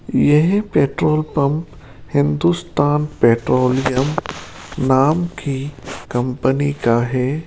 यह petrol pump Hindustan petroleum नाम की कंपनी का है।